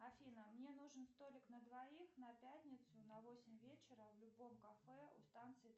афина мне нужен столик на двоих на пятницу на восемь вечера в любом кафе у станции